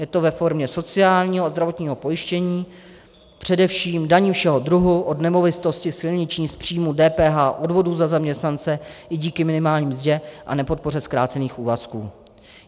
Je to ve formě sociálního a zdravotního pojištění, především daní všeho druhu od nemovitosti, silniční, z příjmu, DPH, odvodů za zaměstnance, i díky minimální mzdě a nepodpoře zkrácených úvazků.